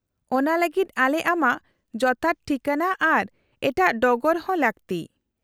-ᱚᱱᱟ ᱞᱟᱹᱜᱤᱫ ᱟᱞᱮ ᱟᱢᱟᱜ ᱡᱚᱛᱷᱟᱛ ᱴᱷᱤᱠᱟᱹᱱᱟ ᱟᱨ ᱮᱴᱟᱜ ᱰᱚᱜᱚᱨ ᱦᱚᱸ ᱞᱟᱹᱠᱛᱤ ᱾